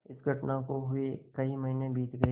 इस घटना को हुए कई महीने बीत गये